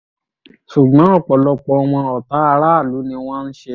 ṣùgbọ́n ọ̀pọ̀lọpọ̀ wọn ọ̀tá aráàlú ni wọ́n ń ṣe